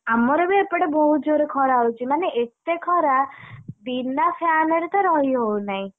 ଆମର ବି ଏପଟେ ବହୁତ ଜୋରେ ଖରା ହଉଛି, ମାନେ ଏତେ ଖରାବିନା fan ରେ ତ ରହି ହଉନାହିଁ।